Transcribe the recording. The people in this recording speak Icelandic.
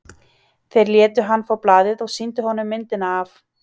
Þeir létu hann fá blaðið og sýndu honum myndina af